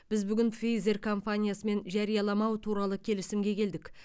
біз бүгін пфейзэр компаниясымен жарияламау туралы келісімге келдік